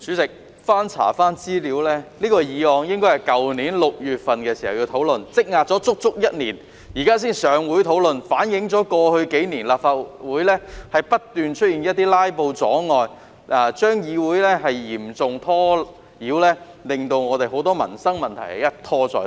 主席，經翻查資料後發現，這項議案原應去年6月討論，積壓了足足一年，現在才能在立法會會議上討論，反映過去數年，立法會不斷出現"拉布"阻礙，議會受嚴重干擾，令很多民生問題一拖再拖。